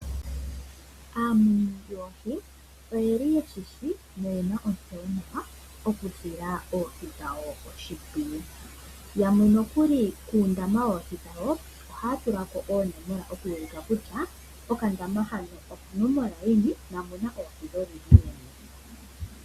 Aamuni yoohi oyeli ye shishi noyena ontseyo mokusila oohi dhawo oshimpwiyu. Yamwe nokuli kuundama woohi dhawo ohaya tula ko oonomola oku ulika kutya okandama hano okonomola yini, na omuno oohi dholudhi luni.